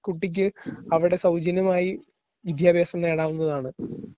ഒരു കുട്ടിക്ക് അവിടെ സൗജന്യമായി വിദ്യാഭ്യാസം നേടാവുന്നതാണ്.